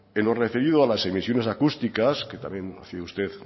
en lo referido a las emisiones acústicas que también hace usted